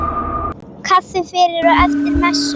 Kaffi fyrir og eftir messu.